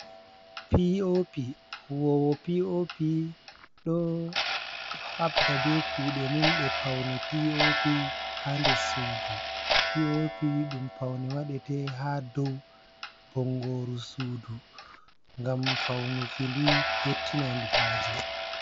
Piopi huwowo piopi ɗo habda be kuɗe mum ɗe paune pop ha nder sudu. Piopi ɗum paune waɗata ha dow bongoru sudu ngam faunuki ɗum yottina ndu haje.